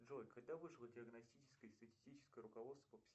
джой когда вышло диагностическое и статистическое руководство